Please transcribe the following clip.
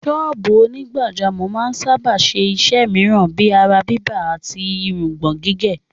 Sọ́ọ̀bù onígbàjámọ̀ máa ń sáábà ṣe iṣẹ́ mìíràn bíi ara-bíbà àti irùngbọ̀n-gígé.